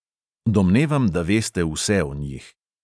"Domnevam, da veste vse o njih."